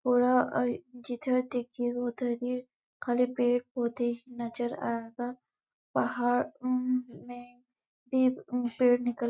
जिधर देखिये उधर ही खाली पेड़-पौधे नज़र आ रहा पहाड़ो में भी पेड़ निकल --